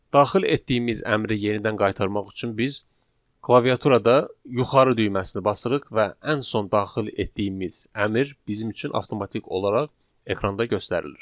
Daxil etdiyimiz əmri yenidən qaytarmaq üçün biz klaviaturada yuxarı düyməsini basırıq və ən son daxil etdiyimiz əmr bizim üçün avtomatik olaraq ekranda göstərilir.